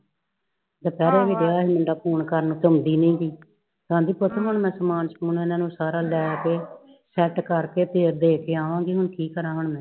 ਦੁਪਹਿਰੇ ਵੀ ਗਯਾ ਸੀ ਮੁੰਡਾ ਫੋਨ ਕਰਨ ਕਰਦੀ ਹੀ ਨਹੀਂ ਸੀ ਕਿ ਆਉਂਦੀ ਨੀ ਸੀ ਆਂਦੀ ਪੁੱਤ ਮੈ ਸਮਾਨ ਸਮੂਨ ਉਹਨਾਂ ਨੂੰ ਲੈਕੇ ਸੈੱਟ ਕਰਕੇ ਫਿਰ ਦੇਕੇ ਆਵਾਂਗੀ ਹੁਣ ਕੀ ਕਰਾਂ ਹੁਣ ਮੈ